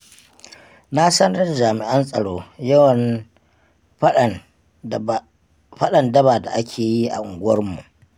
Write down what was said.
Na sanar da jami'an tsaro yawan faɗan daba da ake yi a unguwarmu.